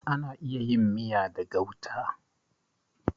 Ana iya yin miya da gauta.